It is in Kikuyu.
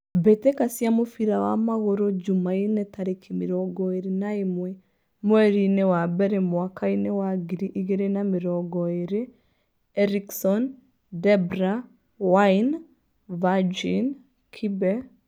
Mbitika cia mũbira wa magũrũ Jumaine tarĩki mĩrongo ĩrĩ na ĩmwe mwerinĩ wa mbere mwakainĩ wa ngiri igĩrĩ na mĩrongo ĩrĩ: Erikson, Debra, Waine, Virgin, Kibe.